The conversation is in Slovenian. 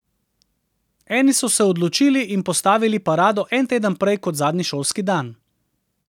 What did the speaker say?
Eni so se odločili in postavili parado en teden prej kot zadnji šolski dan.